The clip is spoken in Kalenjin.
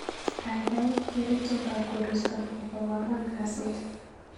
Gaigai geer itondab koristo nebo ko angwan kasit